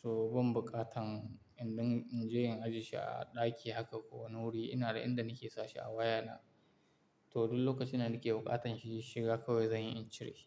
So ban buƙatan in din in je in ajiye shi a ɗaki haka ko wani wuri. Ina da inda nake sashi a wayana. To duk lokacin da nake buƙatan shi shiga kawai zan yi in cire shi.